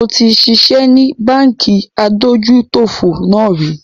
Mo ti ṣiṣẹ́ ni Báńkì adójútòfò náà rì